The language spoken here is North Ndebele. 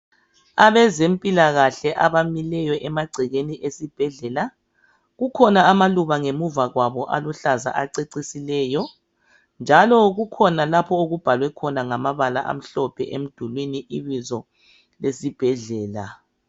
Abezempilakahle abamileyo emangcekeni esibhedlela kukhona amaluba ngemuva kwabo aluhlanza acecisileyo njalo kukhona lapho okubhalwe ngamabala amhlophe emdulwini ibizo lesibhedlela.